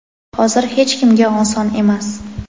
Hozir hech kimga oson emas.